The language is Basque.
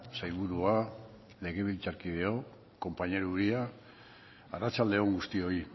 sailburua legebiltzarkideok compañero uria arratsalde on guztioi